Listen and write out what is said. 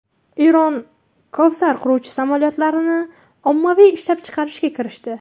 Eron Kowsar qiruvchi samolyotlarini ommaviy ishlab chiqarishga kirishdi.